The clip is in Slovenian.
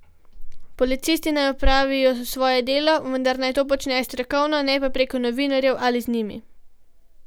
Policisti naj opravijo svoje delo, vendar naj to počnejo strokovno, ne pa preko novinarjev ali z njimi.